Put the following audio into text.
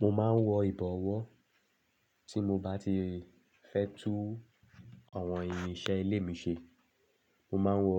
Mo máa ń wọ ìbọ̀wọ́ tí mo bá ti fẹ́ tú àwọn irinṣẹ́ ilé mi ṣe. Mo máa ń wọ